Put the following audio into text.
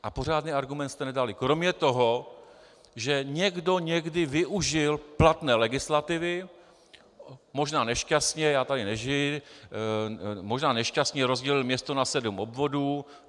A pořádný argument jste nedali kromě toho, že někdo někdy využil platné legislativy, možná nešťastně, já tady nežiji, možná nešťastně rozdělil město na sedm obvodů.